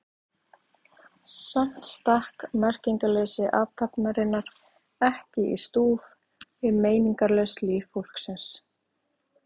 Samt stakk merkingarleysi athafnarinnar ekki í stúf við meiningarlaust líf fólksins.